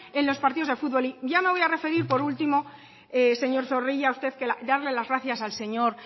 en los partidos de futbol y ya me voy a referir por último señor zorrilla darle las gracias al señor